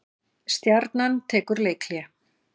Stjarnan tekur leikhlé